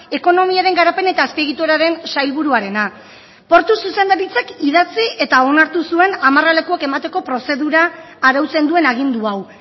ekonomiaren garapen eta azpiegituraren sailburuarena portu zuzendaritzak idatzi eta onartu zuen amarralekuak emateko prozedura arautzen duen agindu hau